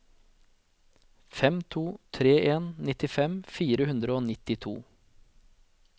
fem to tre en nittifem fire hundre og nittito